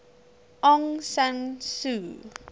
aung san suu